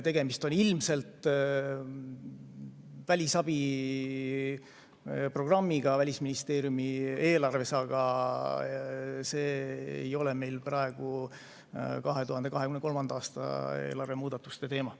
Tegemist on ilmselt välisabiprogrammiga Välisministeeriumi eelarves, aga see ei ole meil praegu 2023. aasta eelarve muudatuste teema.